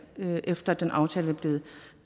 efter at den aftale